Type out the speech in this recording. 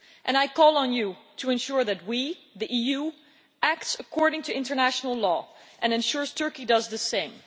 I call on you to ensure that we, the EU, act according to international law and ensure that Turkey does the same.